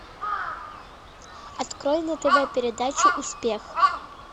открой на тв передачу успех